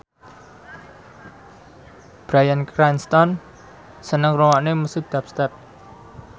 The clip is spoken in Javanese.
Bryan Cranston seneng ngrungokne musik dubstep